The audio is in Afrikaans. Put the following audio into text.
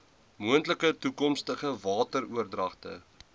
moontlike toekomstige wateroordragte